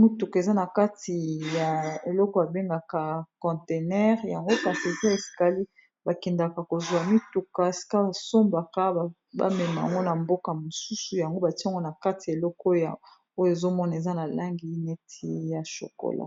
mituka eza na kati ya eloko abengaka contenere yango parteze ya skalie bakendaka kozwa mituka ska basombaka bamemango na mboka mosusu yango batiango na kati ya elekooyo ezomona eza na langi neti ya shokola